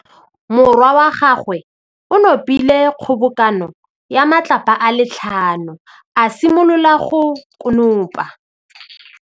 Morwa wa gagwe o nopile kgobokanô ya matlapa a le tlhano, a simolola go konopa.